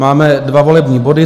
Máme dva volební body.